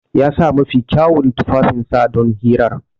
Ya sa mafi kyawun tufafinsa don hirar.